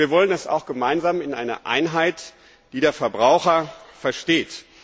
Wir wollen es auch gemeinsam in einer Einheit, die der Verbraucher versteht.